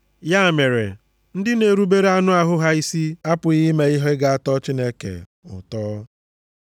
Ya mere, ndị na-erubere anụ ahụ ha isi apụghị ime ihe ga-atọ Chineke ụtọ.